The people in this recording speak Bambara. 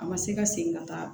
A ma se ka segin ka taa